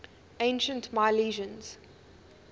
ancient milesians